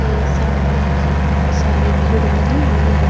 ये सामने ही बहुत सारी भीड़ लगी हुई हैं।